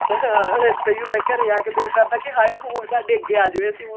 ਹਾਂ ਇੱਦਾਂ ਹੀ ਹੁੰਦਾ ਘਰੇ ਆ ਕੇ ਦਿਲ ਕਰਦਾ ਕੀ ਹਾਏ ਹੁਣ ਸਾਡੇ ਅੱਗੇ ਆ ਜਾਵੇ ਹੁਣ